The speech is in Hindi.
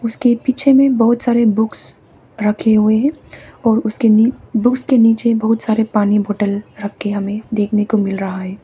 उसके पीछे में बहुत सारे बुक्स रखे हुए हैं और उसके नीचे बुक्स के नीचे बहुत सारे पानी बोतल रखे हमें देखने को मिल रहा है।